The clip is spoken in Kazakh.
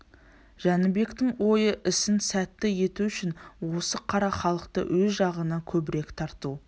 жәнібектің ойы ісін сәтті ету үшін осы қара халықты өз жағына көбірек тарту